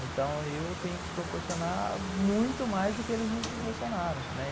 Então eu tenho que proporcionar muito mais do que eles me proporcionaram, né.